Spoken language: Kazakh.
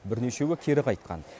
бірнешеуі кері қайтқан